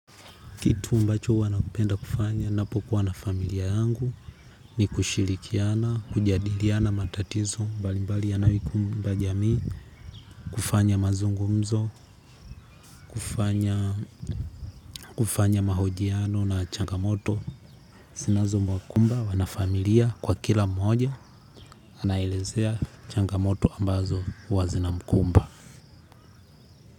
Kitu ambacho huwa napenda kufanya napokuwa na familia yangu ni kushirikiana, kujadiliana matatizo mbali mbali yanayoikumba jamii. Kufanya mazungumzo, kufanya mahojiano na changamoto zinazo wakumba wanafamilia kwa kila mmoja anaelezea changamoto ambazo huwa zinamkumba.